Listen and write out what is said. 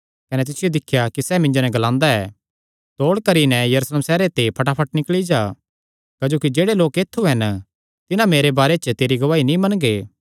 कने तिसियो दिख्या कि सैह़ मिन्जो नैं ग्लादा ऐ तौल़ करी नैं यरूशलेम सैहरे ते फटाफट निकल़ी जा क्जोकि जेह्ड़े लोक ऐत्थु हन तिन्हां मेरे बारे च तेरी गवाही नीं मनगे